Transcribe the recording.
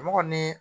Mɔgɔ ni